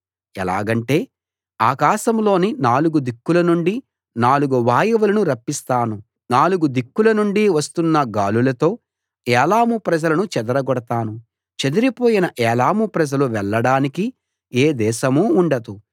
ఎలాగంటే ఆకాశంలోని నాలుగు దిక్కుల నుండి నాలుగు వాయువులను రప్పిస్తాను నాలుగు దిక్కుల నుండి వస్తున్న గాలులతో ఏలాము ప్రజలను చెదరగొడతాను చెదిరిపోయిన ఏలాము ప్రజలు వెళ్ళడానికి ఏ దేశమూ ఉండదు